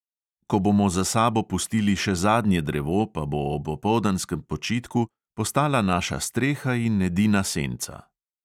Ko bomo za sabo pustili še zadnje drevo, pa bo ob opoldanskem počitku postala naša streha in edina senca.